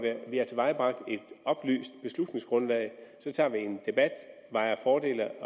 vi har tilvejebragt et oplyst beslutningsgrundlag tager vi en debat vejer fordele